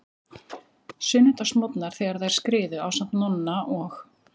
Sunnudagsmorgnar þegar þær skriðu, ásamt Nonna og